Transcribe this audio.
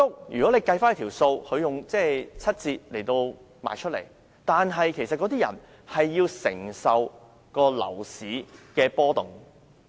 如果審視整體情況，居屋以七折出售單位，但買家其實需要承受樓市的波動。